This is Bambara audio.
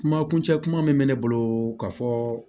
Kuma kuncɛ kuma min bɛ ne bolo ka fɔ